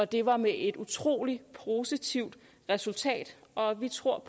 det var med et utrolig positivt resultat og vi tror